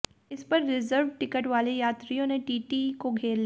इस पर reserved ticket वाले यात्रियों ने टीटीई को घेर लिया